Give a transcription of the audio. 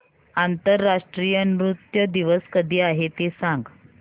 आंतरराष्ट्रीय नृत्य दिवस कधी आहे ते सांग